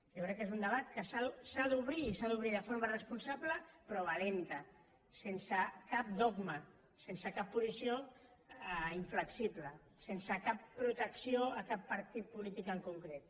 jo crec que és un debat que s’ha d’obrir i s’ha d’obrir de forma responsable però valenta sense cap dogma sense cap posició inflexible sense cap protecció a cap partit polític en concret